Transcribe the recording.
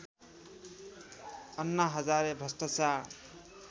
अन्ना हजारे भ्रष्टाचार